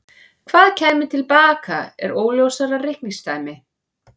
Hvað kæmi til baka er óljósara reikningsdæmi.